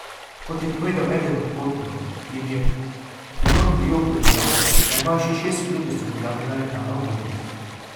Kot je povedal eden od potnikov, jim je pilot v joku dejal, da imajo še šest minut do strmoglavljenja letala v morje.